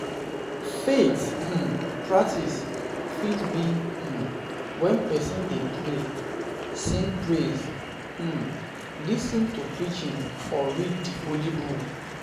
Faith um practice fit be um when persin de pray, sing praise,[um] lis ten to preaching or read di holy book